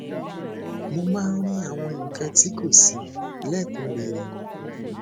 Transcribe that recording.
mo máa ń rí àwọn nǹkan tí kò si lekunrere